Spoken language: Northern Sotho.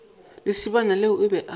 lesibana yena o be a